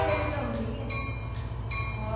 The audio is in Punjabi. ਤੇਰੀ ਤੇ ਆਉਂਦੀ ਹੈ ਹਾਂ